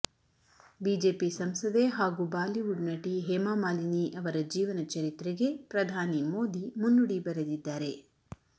BJP ಸಂಸದೆ ಹಾಗೂ Bollywood ನಟಿ ಹೇಮಾ ಮಾಲಿನಿ ಅವರ ಜೀವನ ಚರಿತ್ರೆಗೆ ಪ್ರಧಾನಿ ಮೋದಿ ಮುನ್ನುಡಿ ಬರೆದಿದ್ದಾರೆ